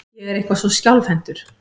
Ég er eitthvað svo skjálfhentur.